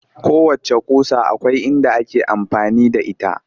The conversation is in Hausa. Kowacce ƙusa akwai inda ake amfani da ita